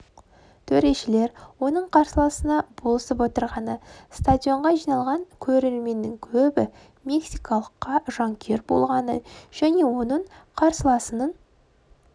төрешілер оның қарсыласына болысып отырғаны стадионға жиналған көрерменнің көбі мексикалыққа жанкүйер болғаны және оның қарсыласының